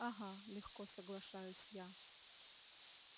ага легко соглашаюсь я